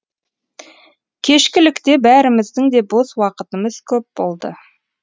кешкілікте бәріміздің де бос уақытымыз көп болды